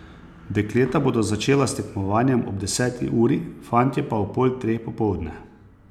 Dekleta bodo začela s tekmovanjem ob deseti uri, fantje pa ob pol treh popoldne.